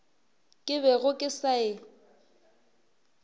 ke bego ke sa e